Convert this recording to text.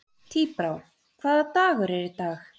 Tíbrá, hvaða dagur er í dag?